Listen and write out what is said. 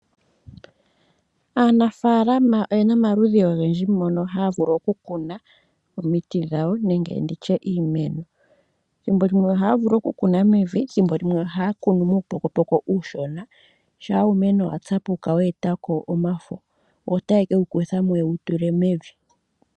Aanafaalama oye na omaludhi ogendji mono haya vulu oku kuna omiti dhawo nenge tu tye iimeno. Ethimbo limwe ohaya vulu oku kuna mevi omanga thimbo limwe haya kunu muupokopoko uushona. Shampa uumeno wa tsapuka wa e ta ko omafo ota ye ke wu kutha mo ye wu tule mevi.